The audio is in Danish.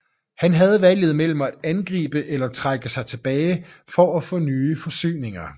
Han havde valget mellem at angribe eller trække sig tilbage for at få nye forsyninger